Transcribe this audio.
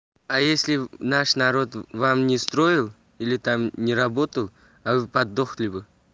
а если наш народ вам не строил или там не работал а подохли бы